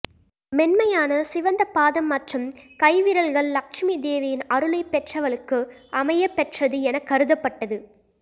மென்மையான சிவந்தப் பாதம் மற்றும் கைவிரல்கள் லட்சுமி தேவியின் அருளை பெற்றவளுக்கு அமையப்பெற்றது என கருதப்பட்டது